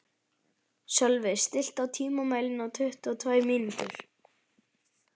Sölvi, stilltu tímamælinn á tuttugu og tvær mínútur.